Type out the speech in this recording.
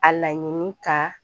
A laɲini ka